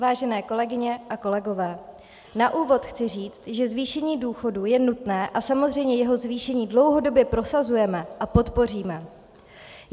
Vážené kolegyně a kolegové, na úvod chci říci, že zvýšení důchodů je nutné a samozřejmě jeho zvýšení dlouhodobě prosazujeme a podpoříme.